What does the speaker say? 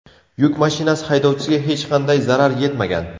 Yuk mashinasi haydovchisiga hech qanday zarar yetmagan.